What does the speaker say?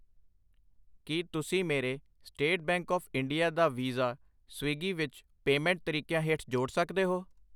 ਕਿ ਤੁਸੀਂਂ ਮੇਰੇ ਸਟੇਟ ਬੈਂਕ ਆਫ ਇੰਡੀਆ ਦਾ ਵੀਜ਼ਾ ਸਵਿਗੀ ਵਿੱਚ ਪੇਮੈਂਟ ਤਰੀਕਿਆਂ ਹੇਠ ਜੋੜ ਸਕਦੇ ਹੋ ?